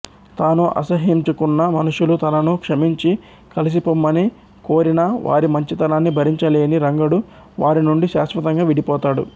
తాను అసహ్యించుకున్న మనుషులు తనను క్షమించి కలిసిపొమ్మని కోరినా వారి మంచితనాన్ని భరించలేని రంగడు వారినుండి శాశ్వతంగా విడిపోతాడు